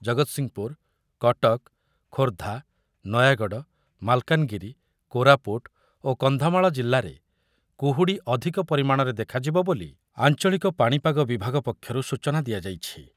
ଜଗତସିଂହପୁର, କଟକ, ଖୋର୍ଦ୍ଧା, ନୟାଗଡ, ମାଲକାନଗିରି, କୋରାପୁଟ ଓ କନ୍ଧମାଳ ଜିଲ୍ଲାରେ କୁହୁଡ଼ି ଅଧିକ ପରିମାଣରେ ଦେଖାଯିବ ବୋଲି ଆଞ୍ଚଳିକ ପାଣିପାଗ ବିଭାଗ ପକ୍ଷରୁ ସୂଚନା ଦିଆଯାଇଛି ।